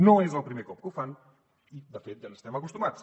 no és el primer cop que ho fan i de fet ja n’estem acostumats